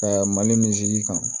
mali kan